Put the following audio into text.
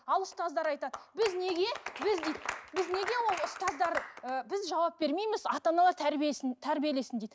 ал ұстаздар айтады біз неге біз дейді біз неге ол ұстаздар ы біз жауап бермейміз ата аналар тәрбиесін тәрбиелесін дейді